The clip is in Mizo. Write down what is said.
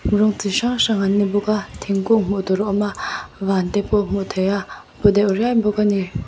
rawng chu hrang hrang an ni bawk a thingkung hmuh tur a awm a van te pawh a hmuh theih a paw deuh riai bawk a ni.